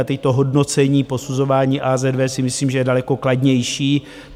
A teď to hodnocení, posuzování AZV si myslím, že je daleko kladnější.